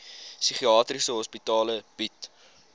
psigiatriese hospitale bied